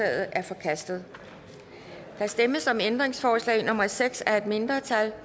er forkastet der stemmes om ændringsforslag nummer seks af et mindretal